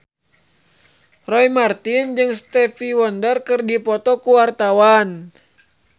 Roy Marten jeung Stevie Wonder keur dipoto ku wartawan